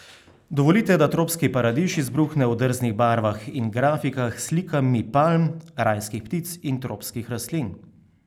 Dovolite, da tropski paradiž izbruhne v drznih barvah in grafikah s slikami palm, rajskih ptic in tropskih rastlin.